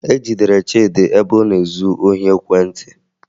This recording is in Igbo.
E jidere Chịdị ebe ọ na-ezu ohi ekwentị